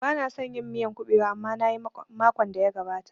Bana son yin miyan kuɓewa amma nayi makon da ya gabata